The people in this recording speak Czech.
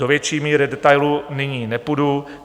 Do větší míry detailu nyní nepůjdu.